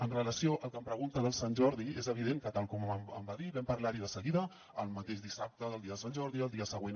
amb relació al que em pregunta de sant jordi és evident que tal com em va dir vam parlar hi de seguida el mateix dissabte del dia de sant jordi el dia següent